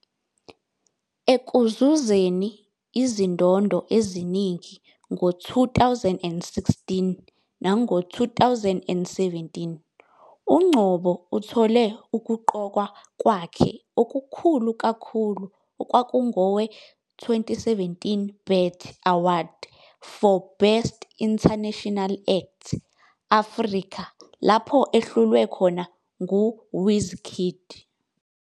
Ekuzuzeni izindondo eziningi ngo-2016 nango-2017, uNgcobo uthole ukuqokwa kwakhe okukhulu kakhulu okwakungowe- 2017 BET Award for Best International Act- Africa lapho ehlulwe khona nguWizkid.